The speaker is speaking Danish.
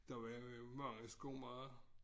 Der var jo mange skomagere